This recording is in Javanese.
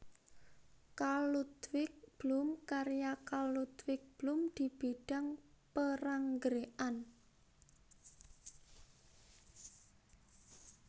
Karl Ludwig Blume Karya Karl Ludwig Blume di bidang peranggrekan